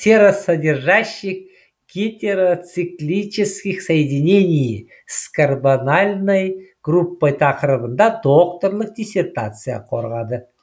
серосодержащих гетероциклических соединений с карбональной группой тақырыбында докторлық диссертация қорғады